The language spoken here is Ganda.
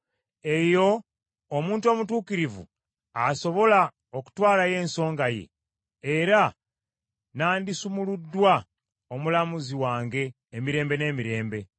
Eyo omuntu omutuukirivu asobola okutwalayo ensonga ye, era nandisumuluddwa omulamuzi wange emirembe n’emirembe.